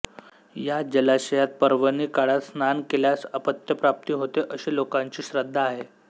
या जलाशयात पर्वणी काळात स्नान केल्यास अपत्यप्राप्ती होते अशी लोकांची श्रद्धा आहे